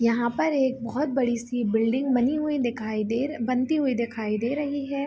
यहाँ पर एक बहुत बड़ी सी बिल्डिंग बनी हुई दिखाई दे रही बनती हुई दिखाई दे रही है।